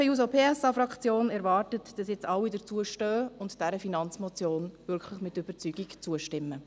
Die SP-JUSO-PSA-Fraktion erwartet, dass nun alle dazu stehen und dieser Finanzmotion wirklich mit Überzeugung zustimmen.